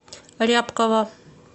рябкова